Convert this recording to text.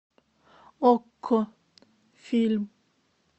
окко фильм